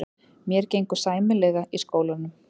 Mér gengur sæmilega í skólanum.